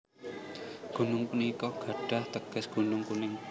Gunung punika gadhah teges Gunung Kuning